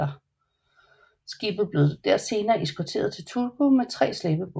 Skibet bliver senere eskorteret til Turku med tre slæbebåde